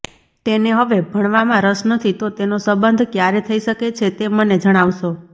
તેને હવે ભણવામાં રસ નથી તો તેનો સંબંધ ક્યારે થઈ શકે છે તે મને જણાવશો